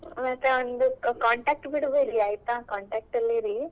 ಮತ್ತೆ ಒಂದು contact ಬಿಡ್ಬೇಡಿ ಆಯ್ತಾ contact ಅಲ್ಲಿ ಇರಿ.